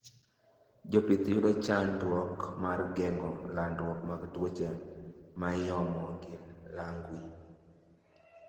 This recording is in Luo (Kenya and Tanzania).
Jopih yudo chanduok mar gengo landruok mag tuoche maiomo gi lwangi